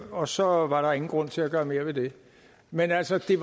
og så var der ingen grund til at gøre mere ved det men altså det